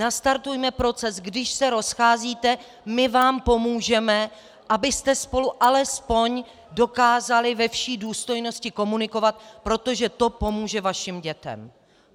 Nastartujme proces: Když se rozcházíte, my vám pomůžeme, abyste spolu alespoň dokázali ve vší důstojnosti komunikovat, protože to pomůže vašim dětem.